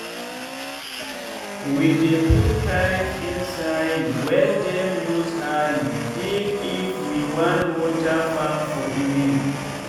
we dey put pipe inside welldem use hand digif we wan water farm for evening.